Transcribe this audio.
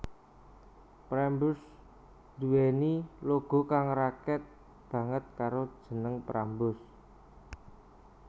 Prambors nduweni logo kang raket banget karo jeneng Prambors